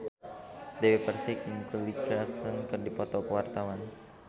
Dewi Persik jeung Kelly Clarkson keur dipoto ku wartawan